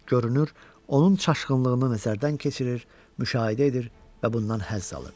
Görünür, onun çaşqınlığını nəzərdən keçirir, müşahidə edir və bundan həzz alırdı.